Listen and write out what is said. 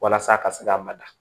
Walasa a ka se ka mada